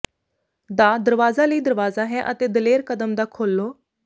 ਦਾ ਦਰਵਾਜ਼ਾ ਲਈ ਦਰਵਾਜ਼ਾ ਹੈ ਅਤੇ ਦਲੇਰ ਕਦਮ ਦਾ ਖੋਲ੍ਹੋ